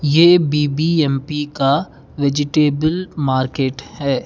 ये बी_बी_एम_पी का vegetable market है।